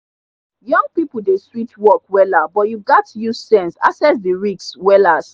young people dey switch work wella but you gats use sense asses the risks wellas.